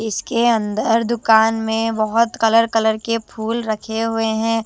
इसके अंदर दुकान में बहोत कलर कलर के फूल रखे हुए हैं।